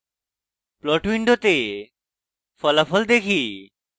plot window ফলাফল দেখি